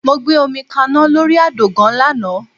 Mo gbé omi kaná lórí àdògán lánàá